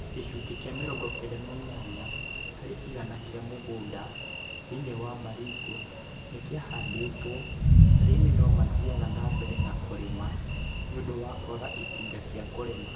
Gĩcunjĩ kĩa 98 harĩ igana kĩa mũgũnda ,thĩinĩ wa Baringo nĩ kĩahandĩtwo. Arĩmi no mathiaga na mbere na kũrĩma nĩ ũndũ wa kwaga itinga cia kũrema.